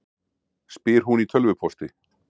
spyr hún í tölvupósti.